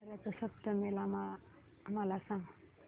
रथ सप्तमी मला सांग